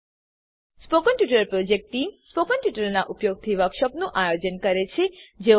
spoken tutorial project team spoken ટ્યુટોરીયલોનાં ઉપયોગથી વર્કશોપોનું આયોજન કરે છે